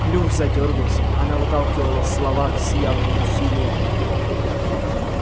клюв задёргался она выталкивала слова с явным усилием